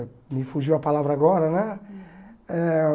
Me fugiu a palavra agora, né? Eh